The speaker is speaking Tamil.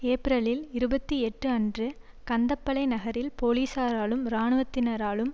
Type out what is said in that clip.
ஏப்பிரல் இருபத்தி எட்டு அன்று கந்தப்பளை நகரில் பொலிசாராலும் இராணுவத்தினராலும்